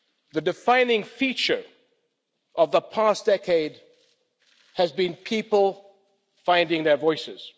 The defining feature of the past decade has been people finding their voices.